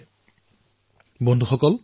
এই পৰিৱৰ্তনৰ হিচাপ ওলোৱাটো ইমান সহজ নহয়